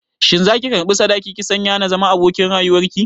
Shin za ki karɓi sadaki ki sanya na zama abokin rayuwar ki?